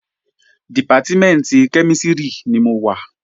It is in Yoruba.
Dìpátímẹ̀ntì kẹ́mísìrì ni mo wà